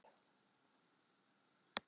Kóngur hét.